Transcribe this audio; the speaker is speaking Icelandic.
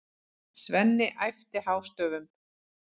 Svenni æpti hástöfum.